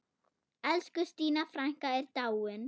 Elsku Stína frænka er dáin.